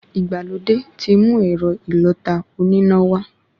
Ìgbàlódé ti mú ẹ̀rọ ìlọta oníná wá